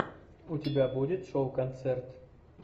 у тебя будет шоу концерт